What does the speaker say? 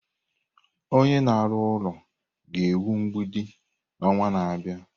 Onye na-arụ ụlọ ga-ewu mgbidi n'ọnwa na-abịa.